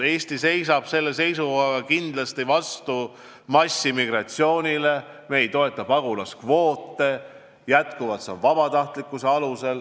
Eesti seisab kindlasti vastu massiimmigratsioonile, me ei toeta pagulaskvoote, toetame endiselt vabatahtlikkust.